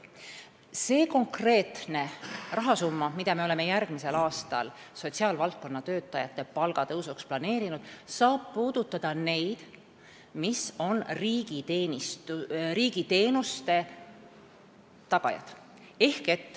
See konkreetne rahasumma, mille me oleme planeerinud sotsiaalvaldkonna töötajate järgmise aasta palga tõusuks, puudutab neid, kes on riigiteenuste tagajad.